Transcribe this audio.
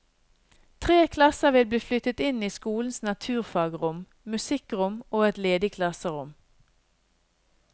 Tre klasser vil bli flyttet inn i skolens naturfagrom, musikkrom og et ledig klasserom.